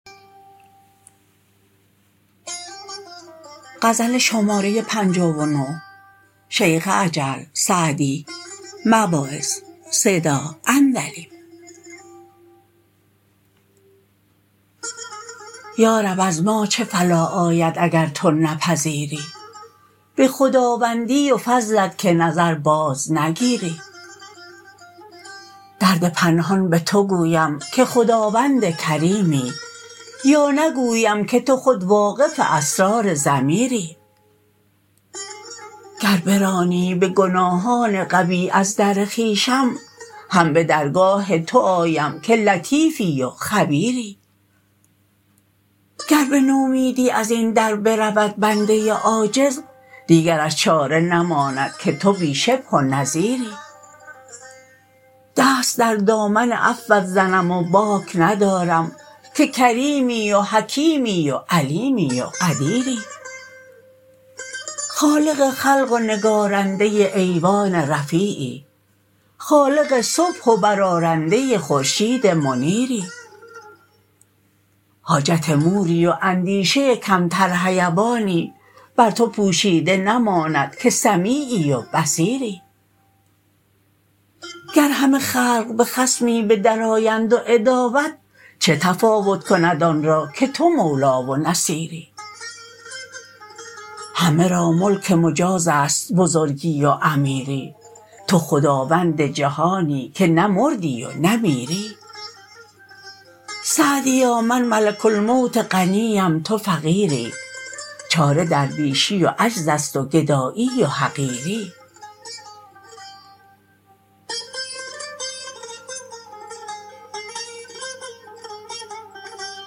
یارب از ما چه فلاح آید اگر تو نپذیری به خداوندی و فضلت که نظر باز نگیری درد پنهان به تو گویم که خداوند کریمی یا نگویم که تو خود واقف اسرار ضمیری گر برانی به گناهان قبیح از در خویشم هم به درگاه تو آیم که لطیفی و خبیری گر به نومیدی از این در برود بنده عاجز دیگرش چاره نماند که تو بی شبه و نظیری دست در دامن عفوت زنم و باک ندارم که کریمی و حکیمی و علیمی و قدیری خالق خلق و نگارنده ایوان رفیعی خالق صبح و برآرنده خورشید منیری حاجت موری و اندیشه کمتر حیوانی بر تو پوشیده نماند که سمیعی و بصیری گر همه خلق به خصمی به در آیند و عداوت چه تفاوت کند آن را که تو مولا و نصیری همه را ملک مجاز است بزرگی و امیری تو خداوند جهانی که نه مردی و نه میری سعدیا من ملک الموت غنی ام تو فقیری چاره درویشی و عجز است و گدایی و حقیری